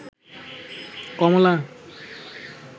কমলা